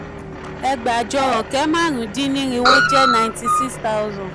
ẹgbàajọ ọ̀kẹ́ márùn-ún-dín-nírinwó jẹ́ 96000.